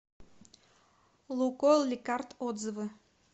лукойл ликард отзывы